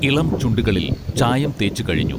ഇളംചുണ്ടുകളിൽ ചായംതേച്ച് കഴിഞ്ഞൂ